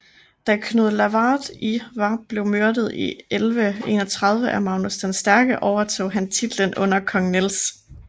Da Knud Lavard i var blevet myrdet i 1131 af Magnus den Stærke overtog han titlen under kong Niels